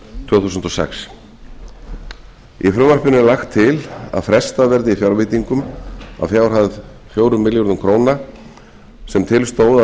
tvö þúsund og sex í frumvarpinu er lagt til að frestað verði fjárveitingum að fjárhæð fjórar milljónir króna sem til stóð að